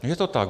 Je to tak.